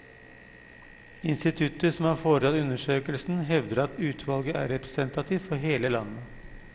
Instituttet som har foretatt undersøkelsen hevder at utvalget er representativt for hele landet.